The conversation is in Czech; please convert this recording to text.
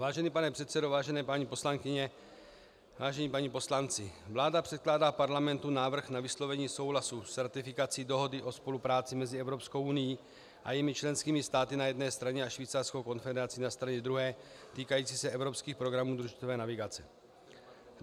Vážený pane předsedo, vážené paní poslankyně, vážení páni poslanci, vláda předkládá Parlamentu návrh na vyslovení souhlasu s ratifikací Dohody o spolupráci mezi Evropskou unií a jejími členskými státy na jedné straně a Švýcarskou konfederací na straně druhé týkající se evropských programů družicové navigace.